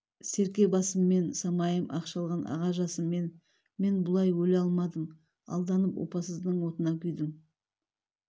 серке басыммен самайын ақ шалған аға жасыммен мен бұлай өле алмадым алданып опасыздың отына күйдім